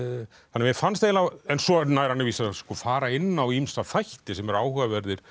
mér fannst eiginlega en svo nær hann að vísu að fara inn á ýmsa þætti sem eru áhugaverðir